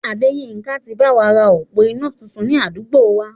Adéyínká ti báwa ra òpó iná tuntun ni àdúgbò wa